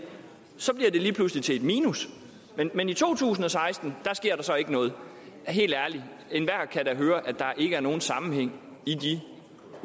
lige pludselig bliver til et minus men i to tusind og seksten sker der så ikke noget helt ærligt enhver kan da høre at der ikke er nogen sammenhæng i de